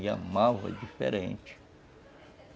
E a malva é diferente.